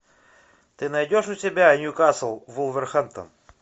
ты найдешь у себя ньюкасл вулверхэмптон